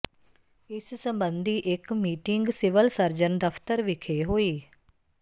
ਇਸ ਸਬੰਧੀ ਇਕ ਮੀਟਿੰਗ ਸਿਵਲ ਸਰਜਨ ਦਫਤਰ ਵਿਖੇ ਹੋਈ